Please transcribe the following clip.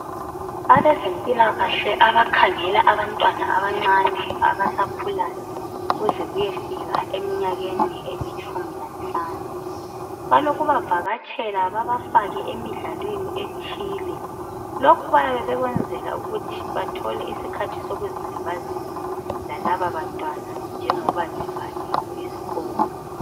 Abazempilakahle abakhangela abantwana abancane abasakhulayo kuze kuyefika eminyakeni elitshumi lanhlanu. Balokubavakatshela babafake emidlalweni ethile lokhu bayabe bekwenzela ukuthia bathole isikhathi sokuzilibazisa lalabo bantwana njengoba ziyabe zivaliwe izikolo.